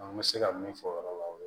An bɛ se ka min fɔ o yɔrɔ la o ye